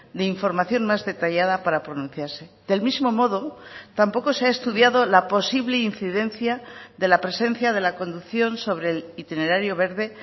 de información más detallada para pronunciarse del mismo modo tampoco se ha estudiado la posible incidencia de la presencia de la conducción sobre el itinerario verde